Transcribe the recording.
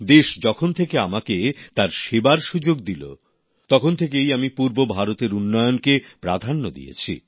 দেশ যখন থেকে আমাকে তার সেবার সুযোগ দিল তখন থেকেই আমি পূর্ব ভারতের উন্নয়নকে প্রাধান্য দিয়েছি